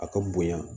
A ka bonya